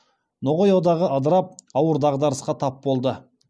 ноғай одағы ыдырап ауыр дағдарысқа тап болды